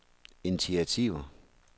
initiativer